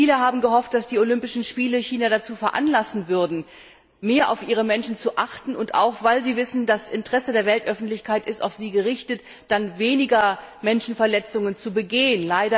Viele haben gehofft, dass die Olympischen Spiele China veranlassen würden, mehr auf die Menschenrechte zu achten und, auch weil die Chinesen wissen, das Interesse der Weltöffentlichkeit ist auf sie gerichtet, dann weniger Menschenrechtsverletzungen zu begehen.